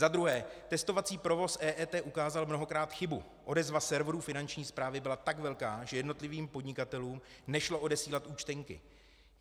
Za druhé, testovací provoz EET ukázal mnohokrát chybu, odezva serveru Finanční správy byla tak velká, že jednotlivým podnikatelům nešlo odesílat účtenky.